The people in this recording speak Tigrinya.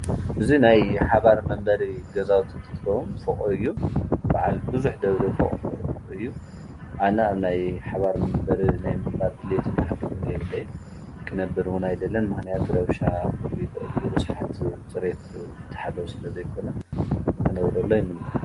እዙይ ናይ ሓባር መንበሪ ገዛውት ን ትትከዉም ፍቕ እዩ በዓል ብዙኅ ደብሪ ፍቕ እዩ። ኣነ ኣብናይ ሓባር መንበር ናይ ምባል ልልየትም ላሕጊሚነ የብለይ ክነብርዉ ናይ ደለን ማህንያቱ ረውሻ ዂል ዕልዩ ርስሓት ጽበት ዘተኃለዉ ስለ ዘይኮነ ምኅነብረሎ ይምንያ